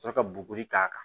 Ka sɔrɔ ka bugɔli k'a kan